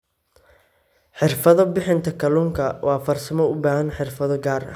Xirfado Bixinta Kalluunku waa farsamo u baahan xirfado gaar ah.